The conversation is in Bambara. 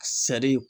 Sari